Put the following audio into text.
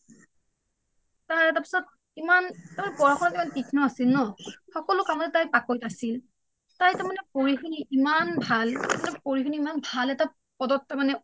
তাৰে পাছত ইমান তাৰ মানে পঢ়া শুনাত ইমান তীক্ষ্ণ আছিল ন সকলো কামতে তাই পাকৈত আছিল তাই তাৰ মানে পঢ়ি শুনি ইমান ভাল তাই পঢ়ী শুনি ইমান ভাল এটা পদত তাৰ মানে